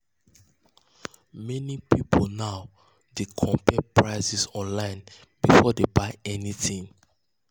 meni pipul now dey compare prices online before dem buy anything.